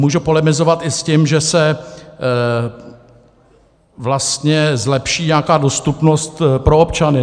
Můžu polemizovat i s tím, že se vlastně zlepší nějaká dostupnost pro občany.